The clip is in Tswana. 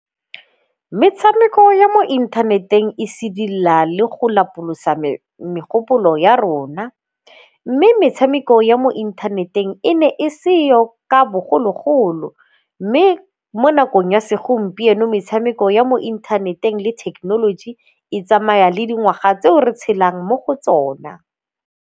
Metshameko ya mo inthaneteng e sedila le go lapolosa megopolo ya rona mme metshameko ya mo inthaneteng e ne e seo ka bogologolo. Mme mo nakong ya segompieno metshameko ya mo inthaneteng le thekenoloji e tsamaya le dingwaga tseo re tshelang mo go tsona.